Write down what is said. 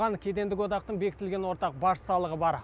оған кедендік одақтың бекітілген ортақ баж салығы бар